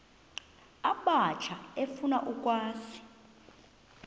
abatsha efuna ukwazi